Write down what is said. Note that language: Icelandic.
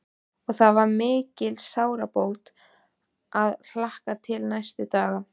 Og það var mikil sárabót að hlakka til næsta dags.